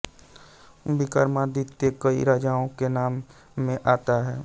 विक्रमादित्य कई राजाओं के नाम में आता है